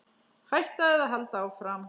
Hætta eða halda áfram?